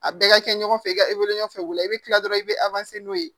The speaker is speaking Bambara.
A bɛɛ ka kɛ ɲɔgɔn fɛ i ka wuli i bɛ kila dɔrɔn i bɛ n'o ye